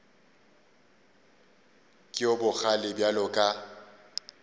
ke yo bogale bjalo ka